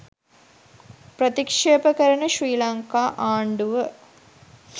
ප්‍රතික්ෂේප කරන ශ්‍රී ලංකා ආණ්ඩුව